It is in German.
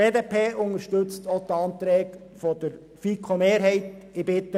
Auch unterstützt sie die Anträge der Mehrheit der FiKo.